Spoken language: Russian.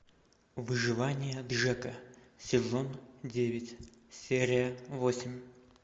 выживание джека сезон девять серия восемь